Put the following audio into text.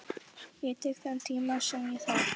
Ég tek þann tíma sem ég þarf.